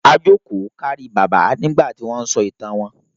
A jókòó kárí Bàbá nígbà tí wọ́n sọ ìtàn wọn.